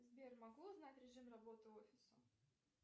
сбер могу узнать режим работы офиса